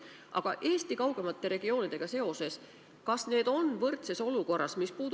Aga küsin Eesti kaugemate regioonidega seoses: kas need on teistega võrdses olukorras?